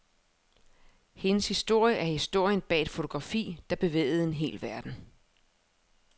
Hendes historie er historien bag et fotografi, der bevægede en hel verden.